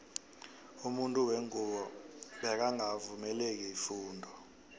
umuntu wengubo bekangaka vungelwa ifundo